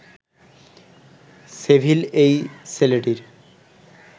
civil এই ছেলেটির